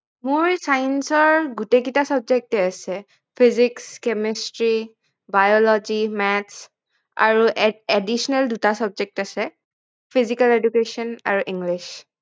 মোৰ science ৰ গোটেই কেইটা subject এ আছে physics chemistry biology math আৰু additional দুটা subject আছে physical education আৰু english